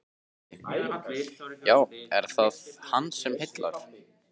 Gísli: Já, er það hann sem heillar?